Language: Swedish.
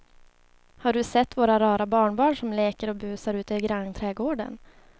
Har du sett våra rara barnbarn som leker och busar ute i grannträdgården!